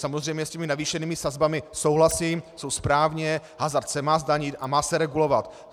Samozřejmě s těmi navýšenými sazbami souhlasím, jsou správně, hazard se má zdanit a má se regulovat.